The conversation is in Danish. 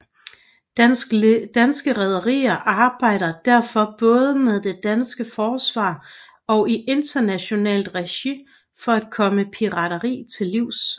Danske Rederier arbejder derfor både med det danske forsvar og i internationalt regi for at komme pirateri til livs